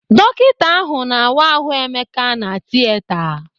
Dọkita ahụ na-awa ahụ Emeka na Tieta.